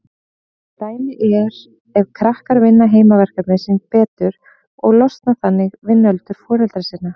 Dæmi er ef krakkar vinna heimaverkefnin sín betur og losna þannig við nöldur foreldra sinna.